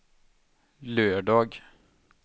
lördag